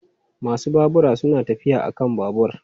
Masu babura suna tafiya a kan babur.